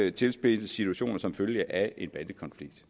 en tilspidset situation som følge af en bandekonflikt